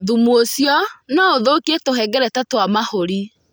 Thumu ũcio no ũthũkie tũhengereta twa mahũri.